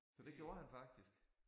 Så det gjorde han faktisk